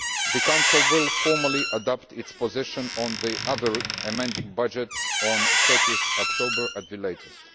The Council will formally adopt its position on the other amending budgets on 30 October at the latest.